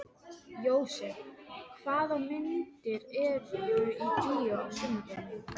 Jósep, hvaða myndir eru í bíó á sunnudaginn?